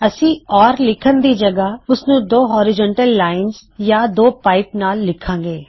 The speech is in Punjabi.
ਅਸੀਂ ਓਰ ਲਿੱਖਣ ਦੀ ਜਗਹ ਉਸਨੂੰ ਦੋ ਹਔਰਿਜ਼ੌਨਟਲ ਲਾਇਨਜ਼ ਯਾ ਦੋ ਪਾਇਪਸ ਨਾਲ਼ ਲਿਖਾਂਗੇ